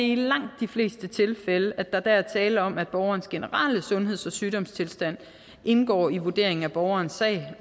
i langt de fleste tilfælde er tale om at borgerens generelle sundheds og sygdomstilstand indgår i vurderingen af borgerens sag